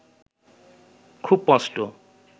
খুব স্পষ্ট